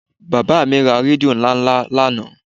Bàbá mi ra rédíò ńláńlá lánàá